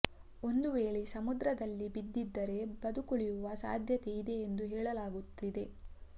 ಒಂದು ವೇಳೆ ಸಮುದ್ರದಲ್ಲಿ ಬಿದ್ದಿದ್ದರೆ ಬದುಕುಳಿಯುವ ಸಾಧ್ಯತೆ ಇದೆ ಎಂದು ಹೇಳಲಾಗುತ್ತಿದೆ